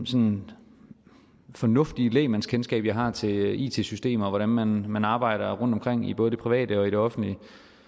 sådan fornuftige lægmandskendskab jeg har til it systemer og hvordan man man arbejder rundtomkring i både det private og det offentlige